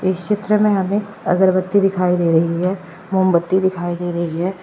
इस चित्र में हमें अगरबत्ती दिखाई दे रही है मोमबत्ती दिखाई दे रही है।